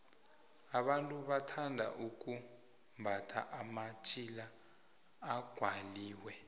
abantu bathanda ukumbatha amatjhila aqwaliwe